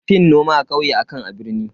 An fi yin noma a kauye akan a birni.